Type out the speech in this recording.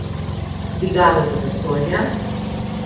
Dvigalo do vesolja?